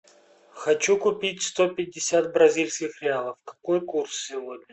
хочу купить сто пятьдесят бразильских реалов какой курс сегодня